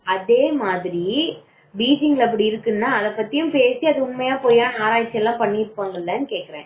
அதே மாதிரி பீஜிங் அப்படி இருக்குன்னா அதை பற்றியும் பேசி அதை பத்தி உண்மையா பொய்யா அப்படின்னு ஆராய்ச்சி எல்லாம் பண்ணி இருப்பாங்க இல்லனு கேக்குறேன்